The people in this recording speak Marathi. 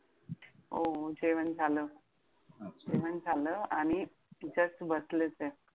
हो जेवण झालं? अच्छा! जेवण झालं आणि just बसलेचे!